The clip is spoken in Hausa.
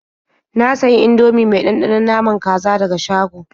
Na sayi Indomie mai ɗanɗanon naman kaza daga shago.